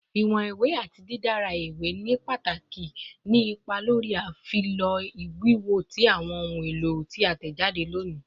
Iwọn iwe ati didara iwe ni pataki ni ipa lori afilọ wiwo ti awọn ohun elo ti a tẹjade loni